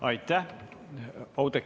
Aitäh!